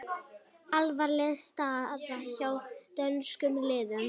Alvarleg staða hjá dönskum liðum